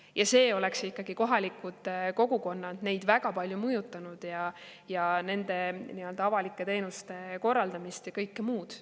Ja see oleks kohalikke kogukondi väga palju mõjutanud, nende avalike teenuste korraldamist ja kõike muud.